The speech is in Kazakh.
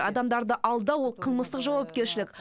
адамдарды алдау ол қылмыстық жауапкершілік